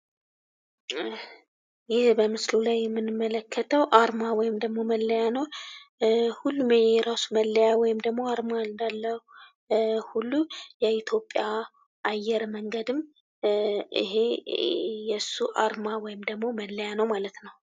ይህ በምስሉ ላይ የምንመለከተው አርማ ወይም ደግሞ መለያ ነው። ሁሉም የእየራሱ መለያ ወይም ደግሞ አርማ እንዳለው ሁሉ የኢትዮጵያ አየር መንገድም ይሄ የሱ አርማ ወይም ደግሞ መለያ ነው ማለት ነው።